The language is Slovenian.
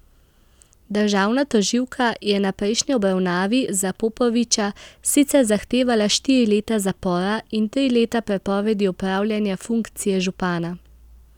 Državna tožilka je na prejšnji obravnavi za Popoviča sicer zahtevala štiri leta zapora in tri leta prepovedi opravljanja funkcije župana.